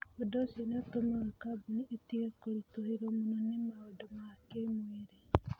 Ũndũ ũcio nĩ ũtũmaga kambuni ĩtige kũritũhĩrũo mũno nĩ maũndũ ma kĩĩmwĩrĩ.